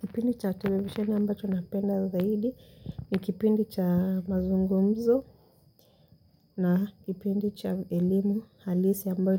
Kipindi cha televisheni ambacho napenda zaidi ni kipindi cha mazungumzo na kipindi cha elimu halisi ambao